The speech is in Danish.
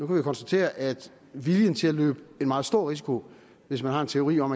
vi jo konstatere at viljen til at løbe en meget stor risiko hvis man har en teori om